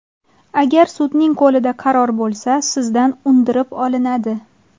Agar sudning qo‘lida qaror bo‘lsa, sizdan undirib olinadi.